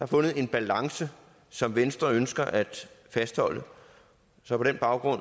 fundet en balance som venstre ønsker at fastholde så på den baggrund